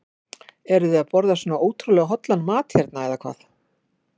Eruð þið að borða svona ótrúlega hollan mat hérna eða hvað?